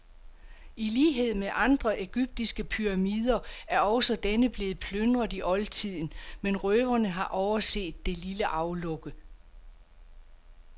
I lighed med andre egyptiske pyramider er også denne blevet plyndret i oldtiden, men røverne har overset det lille aflukke.